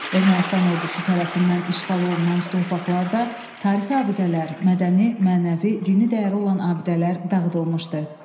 Ermənistan ordusu tərəfindən işğal olunan torpaqlarda tarixi abidələr, mədəni, mənəvi, dini dəyəri olan abidələr dağıdılmışdı.